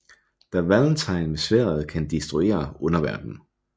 Da Valentine med sværdet kan destruere underverdenen